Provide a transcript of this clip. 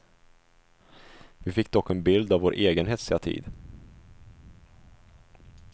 Vi fick dock en bild av vår egen hetsiga tid.